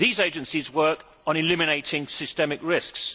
these agencies work on eliminating systemic risks.